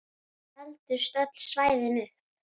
Seldust öll svæðin upp.